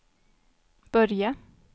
börja